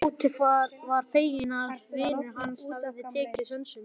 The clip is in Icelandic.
Tóti var feginn að vinur hans hafði tekið sönsum.